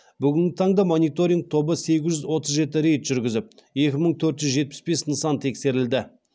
бүгінгі таңда мониторинг тобы сегіз жүз отыз жеті рейд жүргізіп екі мың төрт жүз жетпіс бес нысан тексерілді